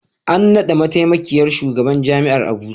An naɗa mataimakin shugaban Jami'ar Abuja.